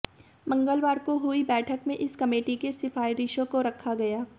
मंगलवार को हुई बैठक में इस कमेटी की सिफारिशों को रखा गया